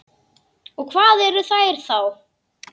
Og hvað eru þær þá?